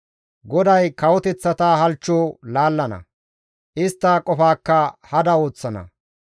GODAY kawoteththata halchcho laallana; istta qofaakka hada ooththana.